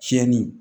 Tiɲɛni